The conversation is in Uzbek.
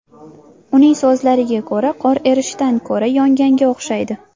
Uning so‘zlariga ko‘ra, qor erishdan ko‘ra, yonganga o‘xshaydi.